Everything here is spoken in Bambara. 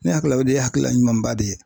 Ne hakili la o de ye hakilila ɲumanba de ye.